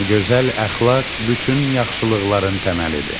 Gözəl əxlaq bütün yaxşılıqların təməlidir.